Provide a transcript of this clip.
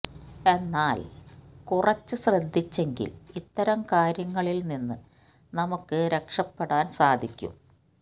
എന്നാൽ കുറച്ച് ശ്രദ്ധിച്ചെങ്കിൽ ഇത്തരം കാര്യങ്ങളിൽ നിന്ന് നമുക്ക് രക്ഷപ്പെടാൻ സാധിക്കും